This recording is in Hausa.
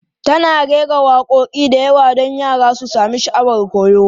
Tana rera waƙoƙi da yawa don yara su sami sha'awar koyo.